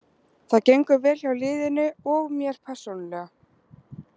Það gengur vel hjá liðinu og mér persónulega.